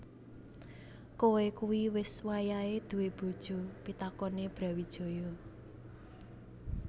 Koe kui wis wayahe duwé bojo pitakone Brawijaya